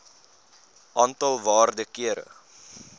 aantal waarde kere